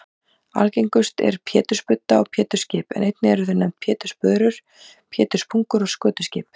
Algengust eru pétursbudda og pétursskip en einnig eru þau nefnd pétursbörur, péturspungur og skötuskip.